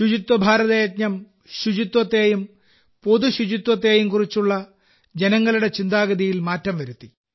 ശുചിത്വ ഭാരത യജ്ഞം ശുചിത്വത്തെയും പൊതു ശുചിത്വത്തെയും കുറിച്ചുള്ള ജനങ്ങളുടെ ചിന്താഗതിയിൽ മാറ്റം വരുത്തി